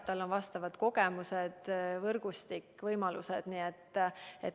Tal on sel alal kogemused, võrgustik, kõik võimalused.